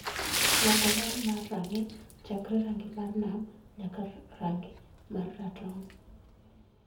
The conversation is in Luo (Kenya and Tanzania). loko ler mar rang'i chakre rangi mar nam nyaka rang'i mar ratong'